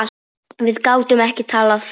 Við gátum ekki talað saman.